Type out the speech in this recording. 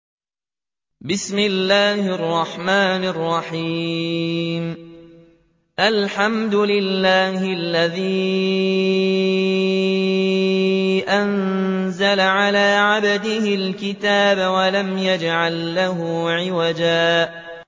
الْحَمْدُ لِلَّهِ الَّذِي أَنزَلَ عَلَىٰ عَبْدِهِ الْكِتَابَ وَلَمْ يَجْعَل لَّهُ عِوَجًا ۜ